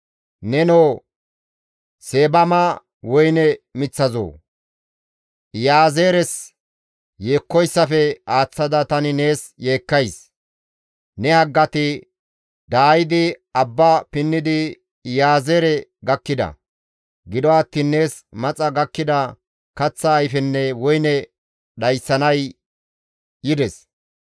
Nenoo Seebama woyne miththazoo! Iyaazeeres yeekkoyssafe aaththada tani nees yeekkays. Ne haggati daayidi Abba pinnidi Iyaazeere gakkida; gido attiin nees maxa gakkida kaththa ayfenne woyne dhayssanay yides.